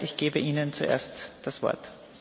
Das heißt, ich gebe Ihnen zuerst das Wort.